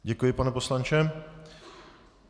Děkuji, pane poslanče.